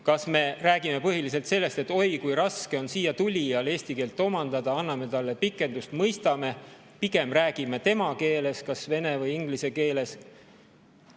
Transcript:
Kas me räägime põhiliselt sellest, et oi kui raske on siiatulijal eesti keelt omandada, anname talle pikendust, mõistame, pigem räägime tema keeles, kas vene või inglise keeles?